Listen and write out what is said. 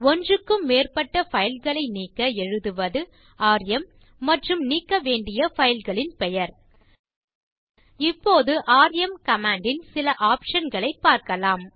ஒன்றுக்கும் மேற்பட்ட பைல் களை நீக்க எழுதுவது ராம் மற்றும் நீக்க வேண்டிய பைல் களின் பெயர் இப்போது ராம் கமாண்ட் ன் சில optionகளைப் பார்க்கலாம்